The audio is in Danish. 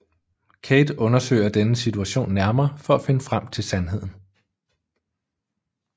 Kate undersøger denne situation nærmere for at finde frem til sandheden